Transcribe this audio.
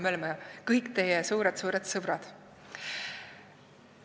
Me oleme siis kõik teie suured sõbrad.